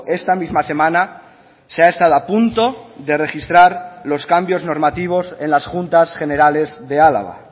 esta misma semana se ha estado a punto de registrar los cambios normativos en las juntas generales de álava